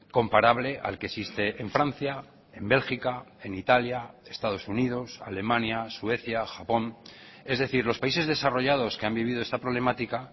comparable al que existe en francia en bélgica en italia estados unidos alemania suecia japón es decir los países desarrollados que han vivido esta problemática